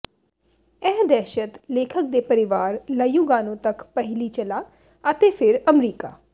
ਇਹ ਦਹਿਸ਼ਤ ਲੇਖਕ ਦੇ ਪਰਿਵਾਰ ਲ੍ਯੂਗਾਨੋ ਤੱਕ ਪਹਿਲੀ ਚਲਾ ਅਤੇ ਫਿਰ ਅਮਰੀਕਾ